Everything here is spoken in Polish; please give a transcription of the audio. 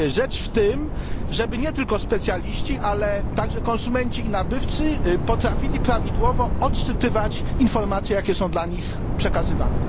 Rzecz w tym, żeby nie tylko specjaliści, ale także konsumenci i nabywcy potrafili prawidłowo odczytywać informacje, jakie są im przekazywane.